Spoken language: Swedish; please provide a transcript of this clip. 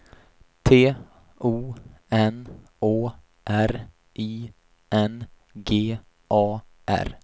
T O N Å R I N G A R